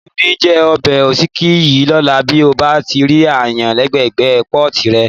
Mi ò ní jẹ ọbẹ̀ òsíkí yìí lọ́la bí mo bá rí aáyán lẹ́gbẹ́ẹ̀gbẹ́ pọ́ọ̀tì rẹ̀.